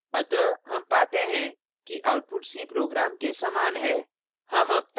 अतः हम पाते हैं कि output c program के समान है